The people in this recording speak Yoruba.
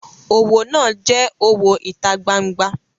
Owo naa je owo ita gbangba.